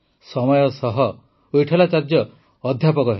ସମୟ ସହ ୱିଟଠଲାଚାର୍ଯ୍ୟ ଅଧ୍ୟାପକ ହେଲେ